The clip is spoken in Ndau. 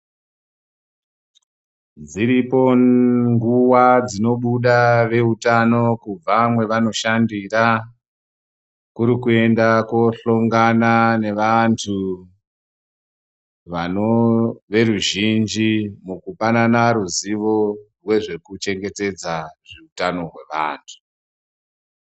Dziripo nguva dzinobuda veutano kubva mwevanoshandira. Kuri kuenda kohlongana nevantu vano veruzhinji mukupanana rizivo rwezvekuchengetedza utano hwevantu.